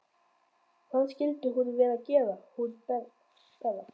Hvað skyldi hún vera að gera hún Bera?